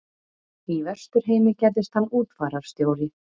Í Vesturheimi gerðist hann útfararstjóri.